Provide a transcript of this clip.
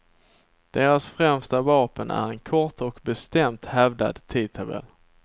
Deras främsta vapen är en kort och bestämt hävdad tidtabell.